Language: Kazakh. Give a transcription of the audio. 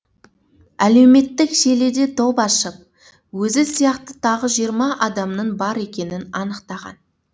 әлеуметтік желіде топ ашып өзі сияқты тағы жиырма адамның бар екенін анықтаған